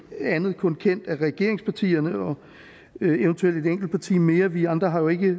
andet kun kendt af regeringspartierne og eventuelt et enkelt parti mere vi andre har jo ikke